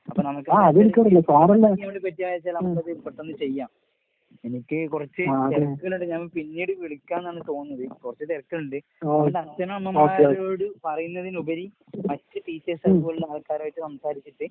അപ്പ നമുക്ക് പറ്റാച്ചാ നമുക്കത് പെട്ടെന്ന് ചെയ്യാം. എനിക്ക് കൊറച്ച് തെരക്ക്കള്ണ്ട് ഞാൻ പിന്നീട് വിളിക്കാന്നാണ് തോന്നുന്നത്. കൊറച്ച് തെരക്ക്കളിണ്ട്. അതുകൊണ്ട് അച്ഛനമ്മമാരോട് പറയുന്നതിനുപരി മറ്റ് ടീച്ചേഴ്സ് അതുപോലുള്ള ആൾക്കാരായിട്ട് സംസാരിച്ചിട്ട്